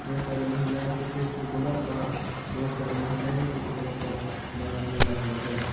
बहुत सारी महिलाएं की फेस पे ब्लर और बहुत सारी महिलाएं के फेस पर मास्क लगा हुआ है।